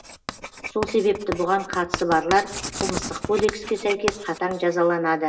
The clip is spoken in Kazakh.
сол себепті бұған қатысы барлар қылмыстық кодекске сәйкес қатаң жазаланады